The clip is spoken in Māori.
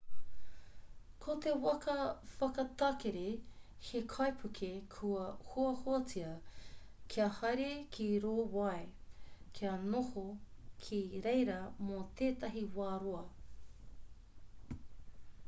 ko te waka whakatakere he kaipuke kua hoahoatia kia haere ki rō wai kia noho ki reira mō tētahi wā roa